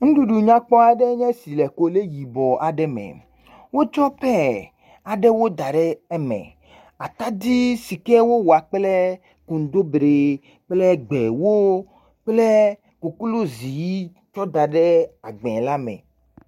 Nuɖuɖu nyakpɔ aɖe nye si le kole yibɔ aɖe me. Wotsɔ paya aɖewo da ɖe eme. Atadi si ke wowoa kple kontobire kple gbewo kple koklozi ʋi da ɖe agbɛ la me.